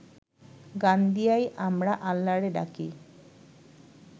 গান দিয়াই আমরা আল্লারে ডাকি